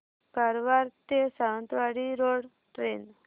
कारवार ते Sawantwadi road train